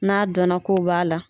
N'a dɔn na k'o b'a la.